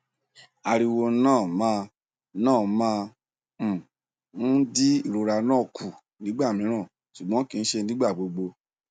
ariwo na ma na ma um n di irora na ku nigba miran ṣugbọn kii ṣe nigbagbogbo